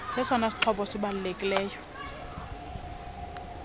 sesona sixhobo sibalulekileyo